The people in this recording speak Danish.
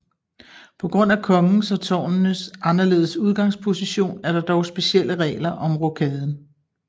På grund af kongens og tårnenes anderledes udgangsposition er der dog specielle regler om rokaden